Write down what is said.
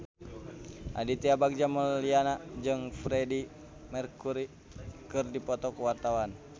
Aditya Bagja Mulyana jeung Freedie Mercury keur dipoto ku wartawan